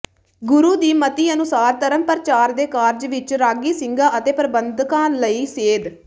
ਗੁਰੂ ਦੀ ਮਤਿ ਅਨੁਸਾਰ ਧਰਮ ਪ੍ਰਚਾਰ ਦੇ ਕਾਰਜ ਵਿੱਚ ਰਾਗੀ ਸਿੰਘਾਂ ਅਤੇ ਪ੍ਰਬੰਧਕਾਂ ਲਈ ਸੇਧ